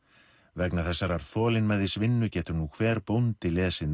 vegna þessarar getur nú hver bóndi lesið